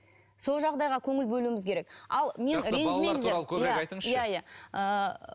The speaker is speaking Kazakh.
сол жағдайға көңіл бөлуіміз керек